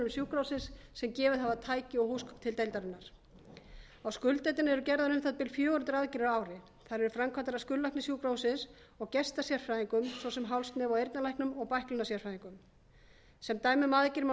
sjúkrahússins sem gefið hafa tæki og húsgögn til deildarinnar á skurðdeildinni eru gerðar uþsb fjögur hundruð aðgerðir á á á þær eru framkvæmdar af skurðlækni sjúkrahússins og gestasérfræðingum svo sem háls nef og eyrnalæknum og bæklunarsérfræðingum sem dæmi um aðgerðir má